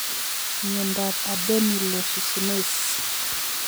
Miondap adenylosuccinase